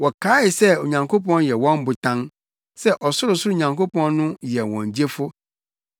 Wɔkaee sɛ Onyankopɔn yɛ wɔn botan, sɛ Ɔsorosoro Nyankopɔn no yɛ wɔn Gyefo.